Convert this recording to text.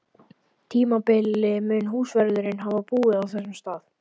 tímabili mun húsvörðurinn hafa búið á þessum stað.